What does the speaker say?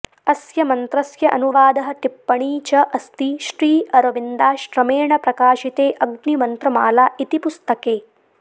अस्य मन्त्रस्य अनुवादः टिप्पणी च अस्ति श्रीअरविन्दाश्रमेण प्रकाशिते अग्निमन्त्रमाला इति पुस्तके